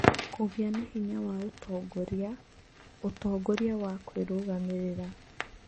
Kũgĩa na hinya wa ũtongoria, ũtongoria na kwĩrũgamĩrĩra